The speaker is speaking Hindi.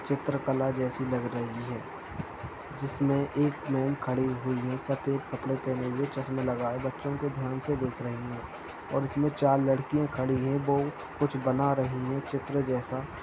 '' चित्रकला जैसी लग रही है जिसमें एक मैंम खड़ी हुई है सफेद कपड़े पहने हुए चश्मा लगाए बच्चों को ध्यान से देख रही है और उसमें चार लड़कियां खड़ी हैं वो कुछ बना रही हैं चित्र जैसा --''